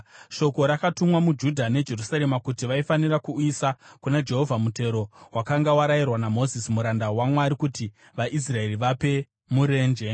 Shoko rakatumwa muJudha neJerusarema kuti vaifanira kuuyisa kuna Jehovha mutero wakanga warayirwa naMozisi muranda waMwari kuti vaIsraeri vape murenje.